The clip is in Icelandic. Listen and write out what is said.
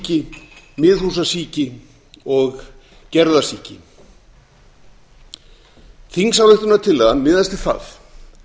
í garði útskálasíki miðhúsasíki og gerðasíki þingsályktunartillagan miðast við það